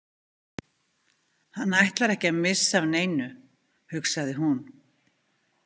Hann ætlar ekki að missa af neinu, hugsaði hún.